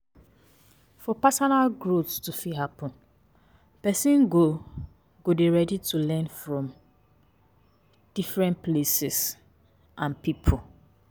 For personal growth to fit happen, person go go dey ready to learn from different places and pipo